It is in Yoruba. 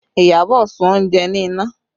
Iyabọ̀ sun oúnjẹ ní iná